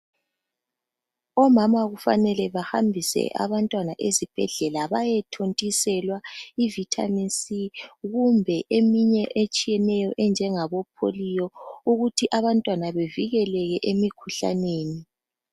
Omama kufanele bahambise abantwana ezibhedlela bayethontiselwa ivithamini si, kumbe eminye etshiyeneyo enjengabo pholiyo, ukuthi abantwana bevikeleke emikhuhlaneni.